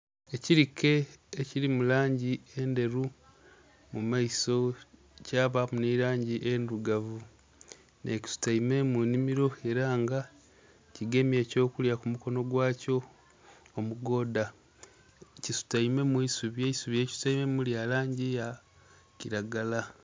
Ekilike ekiri mu langi endheru mu maiso, kyabaaku ni langi endhirugavu nh'ekisutaime mu nnhimiro ela nga kigemye ekyokulya ku mukono gwakyo omugoodha kisutaime mu isubi, eisubi lyekisutaimemu lya langi ya kiragala.